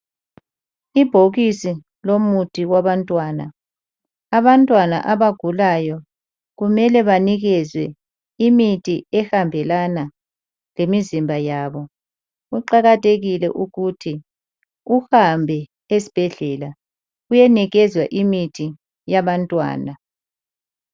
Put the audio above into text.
Ibhokisi lomuthi wabantwana abantwana abagulayo kumele banikezwe imithi ehambelana lemizimbayabo kuqakathekile ukuthi uhambe esibhedlela uyenikezwa imithi yabantwana